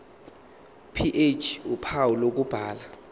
ph uphawu lokubhala